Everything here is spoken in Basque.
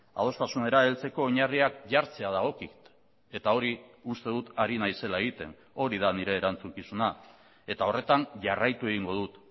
adostasunera heltzeko oinarriak jartzea dagokit eta hori uste dut ari naizela egiten hori da nire erantzukizuna eta horretan jarraitu egingo dut